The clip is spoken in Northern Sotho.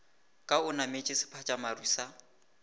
ka o nametše sephatšamaru sa